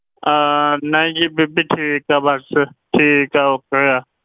ਅਹ ਨਹੀਂ ਜੀ ਬੀਬੀ ਠੀਕ ਆ ਬਸ ਠੀਕ ਆ okay ਆ